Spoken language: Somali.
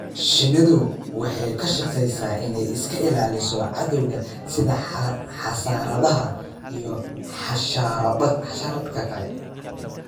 Shinnidu waxay ka shaqaysaa inay iska ilaaliso cadawga sida xasaradaha iyo xasharaadka kale.